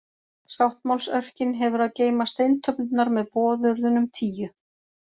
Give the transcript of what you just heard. Sáttmálsörkin hefur að geyma steintöflurnar með boðorðunum tíu.